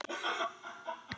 Kveðja Sandra Ósk.